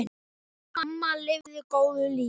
Amma lifði góðu lífi.